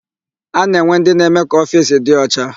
A na-enwe ndị na-eme ka ofiisi dị ọcha.